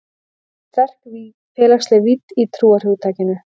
Þá var sterk félagsleg vídd í trúarhugtakinu.